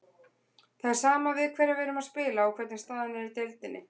Það er sama við hverja við erum að spila og hvernig staðan er í deildinni.